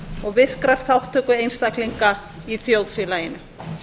og virkrar þátttöku einstaklinga í þjóðfélaginu